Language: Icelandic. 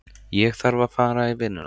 Ég þarf að fara í vinnuna.